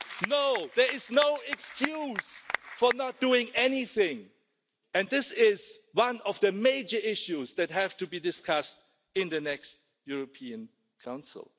No, there is no excuse for not doing anything and this is one of the major issues that have to be discussed in the next European Council.